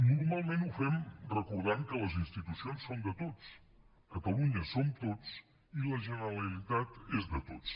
normalment ho fem recordant que les institucions són de tots catalunya som tots i la generalitat és de tots